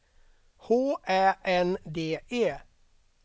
H Ä N D E